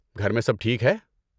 گھر میں سب ٹھیک ہے؟